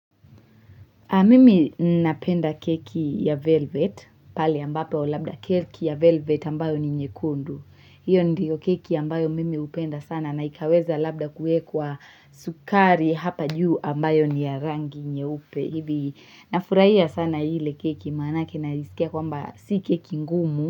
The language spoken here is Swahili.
Mimi napenda keki ya velvet, pale ambapo labda keki ya velvet ambayo ni nyekundu. Hio ndiyo keki ambayo mimi hupenda sana naikaweza labda kuwekwa sukari hapa juu ambayo ni ya rangi nyeupe. Hivi na furahia sana hile keki maanake na isikia kwamba si keki ngumu.